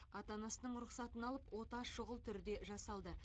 ата анасының рұқсатын алып ота шұғыл түрде жасалды